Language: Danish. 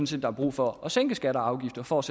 set der er brug for at sænke skatter og afgifter for at